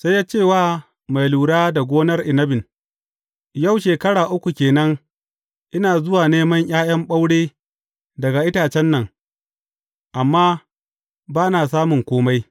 Sai ya ce wa mai lura da gonar inabin, Yau shekara uku ke nan ina zuwa neman ’ya’yan ɓaure daga itacen nan, amma ba na samun kome.